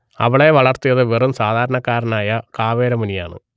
അവളെ വളർത്തിയത് വെറും സാധാരണക്കാരനായ കാവേര മുനിയാണ്